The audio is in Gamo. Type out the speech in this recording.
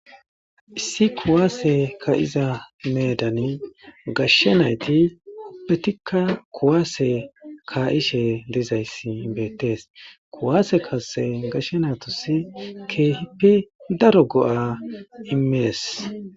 Issi kuwasse ka'za bessan gashshe naytti ubbetika kuwasse ka'she dizayssi bettes kuwase kassay gashshe nayittas kehippe daaro go'a immes.